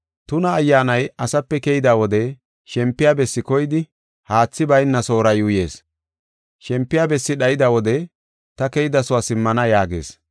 “Tuna ayyaanay asape keyda wode shempiya bessi koydi haathi bayna soora yuuyees. Shempiya bessi dhayda wode, ‘Ta keydasuwa simmana’ yaagees.